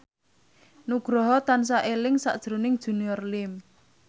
Nugroho tansah eling sakjroning Junior Liem